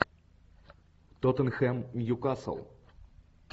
тоттенхэм ньюкасл